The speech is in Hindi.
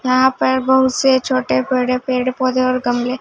यहां पर बहुत से छोटे बड़े पेड़ पौधे और गमले--